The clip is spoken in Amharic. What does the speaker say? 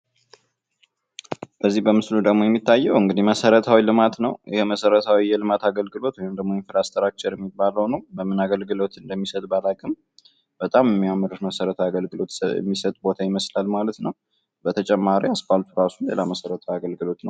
ከዚህ በምስሉ ደግሞ የሚታየው እንግዲህ መሰረታዊ ልማት ነው። የመሰረታዊ የልማት አገልግሎት ወይም ደግሞ ኢንፍራስትራክቸር የሚባለው ነው። በምን አገልግሎት እንደሚሰጥ ባላቅም በጣም የሚያምር መሰረታዊ አገልግሎት የሚሰጥ ቦታ ይመስላል ማለት ነው። በተጨማሪ አስፓልቱ ራሱ ሌላ መሰረታዊ አገልግሎት ነው።